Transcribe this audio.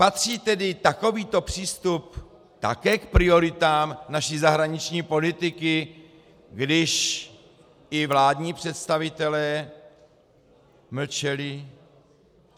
Patří tedy takovýto přístup také k prioritám naší zahraniční politiky, když i vládní představitelé mlčeli?